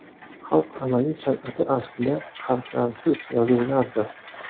Xalq amaliy san’ati aslida harflarsiz yozuvlardir.